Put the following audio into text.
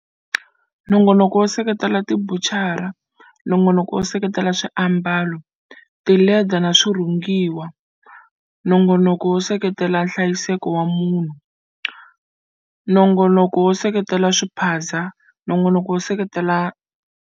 Nongonoko wo seketela tibucara Nongonoko wo seketela swiambalo, tileda na swirhungiwa Nongonoko wo seketela nhlayiseko wa munhu Nongonomo wo seketela swiphaza Nongonoko wo seketela.